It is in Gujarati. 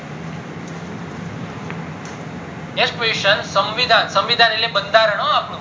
next question સંવિધાન, સંવિધાન એટલે બંધારણ હો અપ્ડું